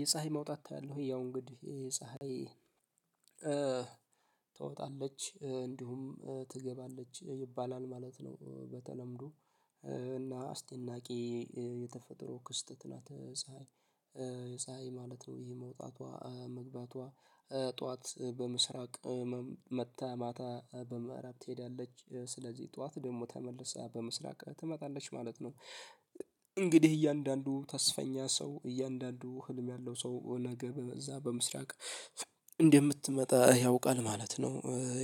የፀሀይ መውጣት ታያለህ ያው እንግዲህ ፀሀይ ትወጣለች እንዲሁም ትገባለች ይባላል ማለት ነው። በተለምዶ እና አስደናቂ የተፈጠሮ ክስተት ናት። ፀሀይ የፀሀይ ማለት ነው ይሄ መውጣቷ መግባቷ ጠዋት በምስራቅ መታ ማታ በምእራብ ትሄዳለች ስለዚህ ጠዋት ደግሞ ተመልሳ በምስራቅ ትመጣለች ማለት ነው። እንግዲህ እያንዳንዱ ተስፈኛ ሰው እያንዳንዱ ህልም ያለው ሰው ነገ በዛ በምስራቅ እንደምትመጣ ያውቃል ማለት ነው።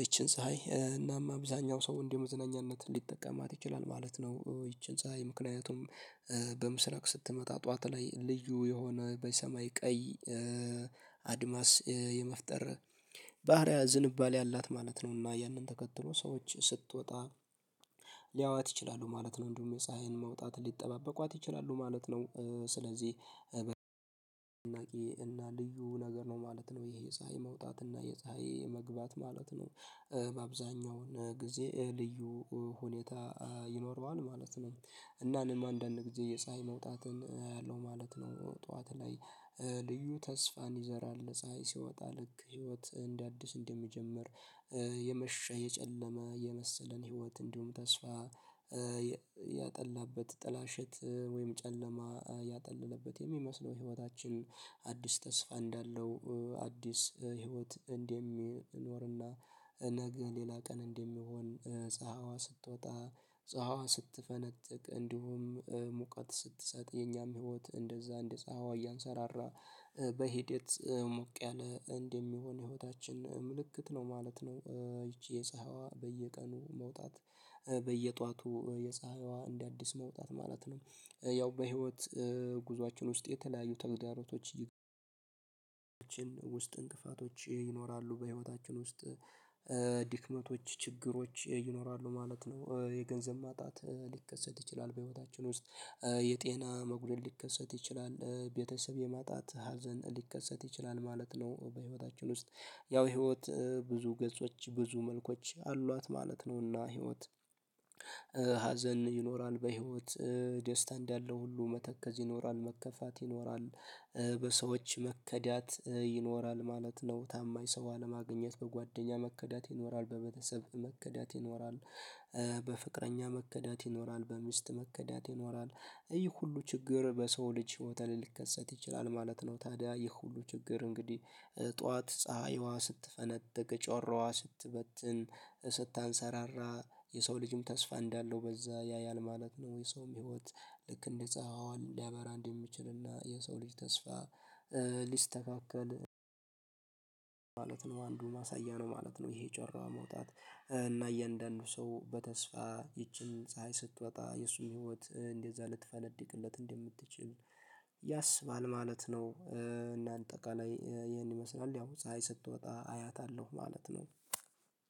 ይቺን ፀሀይ እናም አብዛኛው ሰው እንዲ መዝነኛነት ሊጠቀማት ይችላል ማለት ነው። ይቺን ፀሀይ ምክንያቱም በምስረቅ ስትመጣ ጠዋት ላይ ልዩ የሆነ በሰማይ ቀይ አድማስ የመፍጠር ባህሪያ ዝንባሌ አላት ማለት ነው። እና ያንን ተከትሎ ሰዎች ስትወጣ ሊያዋት ይችላሉ ማለት ነው። እንዲሁም የፀሀይን መውጣት ሊጠባበቋት ይችላሉ ማለት ነው። ስለዚህ ቂዬ እና ልዩ ነገር ነው ማለት ነው። የፀሀይ መውጣት እና የፀሀይ መግባት ማለት ነው። በአብዛኛው ጊዜ ልዩ ሁኔታ ይኖረዋል ማለት ነው። እና እኔም አንዳንድ ጊዜ የፀሀይ መውጣትን አያለው ማለት ነው። ጠዋት ላይ ልዩ ተስፋን ይዘራል ፀሀይ ሲወጣ ልክ ህይወት እንደ አዲስ እንደሚጀምር። የመሸ የጨለመ የመሰለን ህይወት እንዲሁም ተስፋ ያጠላበት ጥላሸት ወይም ጨለማ ያጠለለበት የሚመስለው ህይወታችን አዲስ ተስፋ እንዳለው አዲስ ህይወት እንደሚኖርና። እነግ ሌላ ቀን እንደሚሆን ፀሀይዋ ስትወጣ ፀሀይዋ ስትፈነጥቅ እንዲሁም ሙቀት ስትሰጥ የኛም ህይወት እንደዛ እንደፀሀይዋ እያንሰራራ በሂደት ሞቅ ያለ እንደሚሆን ህይወታችን ምልክት ነው ማለት ነው። ይቺ የፀሀይዋ በየቀኑ መውጣት በየጧቱ የፀሀይዋ እንደ አዲስ መውጣት ማለት ነው። ያው በህይወት ጉዞአችን ውስጥ የተለያዩ ተግዳሮቶች ውስጥ እንቅፋቶች ይኖራሉ በህይወታችን ውስጥ ድክመቶች ችግሮች ይኖራሉ ማለት ነው። የገንዘብ ማጣት ሊከሰት ይችላል በህይወታችን ውስጥ። የጤና መጉደል ሊከሰት ይችላል ቤተሰብ የማጣት ሀዘን ሊከሰት ይችላል ማለት ነው። በህይወታችን ውስጥ ያው ህይወት ብዙ ገጾች ብዙ መልኮች አሏት ማለት ነው። እና ህይወት ሀዘን ይኖራል በህይወት ደስታ እንዳለው ሁሉ መተከዝ ይኖራል መከፋት ይኖራል። በሰዎች መከዳት ይኖራል ማለት ነው። ታማኝ ሰው አለማግኘት በጓደኛ መከዳት ይኖራል በቤተሰብ መከዳት ይኖራል። በፍቅረኛ መከዳት ይኖራል በሚስት መከዳት ይኖራል። ይህ ሁሉ ችግር በሰው ልጅ ህይወት ልከሰት ይችላል ማለት ነው። ታዲያ ይህ ሁሉ ችግር እንግዲህ ጠዋት ፀሀይዋ ስትፈነጥቅ ጮራዋ ስትበትን ስታንሰራራ የሰው ልጅም ተስፋ እንዳለው በዛ ያያል ማለት ነው። የሰውም ህይወት ልክ እንጸሀዋ ሊያበራ እንደሚችልና የሰው ልጅ ተስፋ ሊስተካከል ማለት ነው። አንዱ ማሳያ ነው ማለት ነው። ይሄ ጮራዋ መውጣት እና እያንዳንዱ ሰው በተስፋ ይቺን ፀሀይ ስትወጣ የእሱም ህይወት እንደዛ ልትፈነድቅለት እንደምትችል ያስባል ማለት ነው። እና አጠቃላይ ይሄን ይመስላል ያው ፀሀይ ስትወጣ አያታለሁ ማለት ነው።